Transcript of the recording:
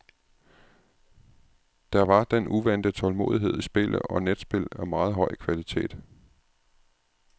Der var den uvante tålmodighed i spillet og netspil af meget høj kvalitet.